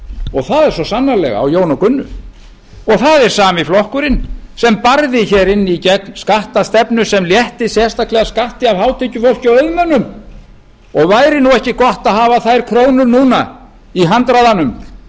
og það er svo sannarlega á jón og gunnu og það er sami flokkurinn sem barði inn í gegn skattastefnu sem létti sérstaklega skatti af hátekjufólki og auðmönnum væri ekki gott að hafa þær krónur núna í handraðanum